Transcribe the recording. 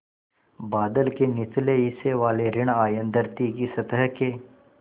बादल के निचले हिस्से वाले ॠण आयन धरती की सतह के